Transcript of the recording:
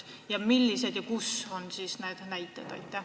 Kui selliseid riike on, siis millised need näited on?